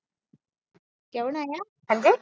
ਕਿਆ ਬਣਾਇਆ